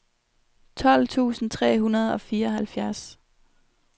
tolv tusind tre hundrede og fireoghalvfjerds